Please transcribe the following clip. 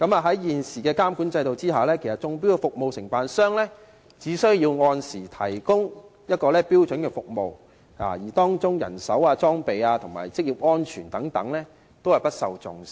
在現行監管制度下，中標的服務承辦商只需按時提供標準服務，而當中的人手、裝備及職業安全等問題均不受重視。